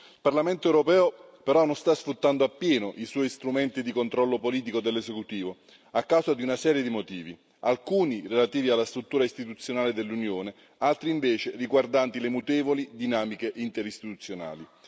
Il Parlamento europeo però non sta sfruttando appieno i suoi strumenti di controllo politico dell'esecutivo, a causa di una serie di motivi, alcuni relativi alla struttura istituzionale dell'Unione, altri invece riguardanti le mutevoli dinamiche interistituzionali.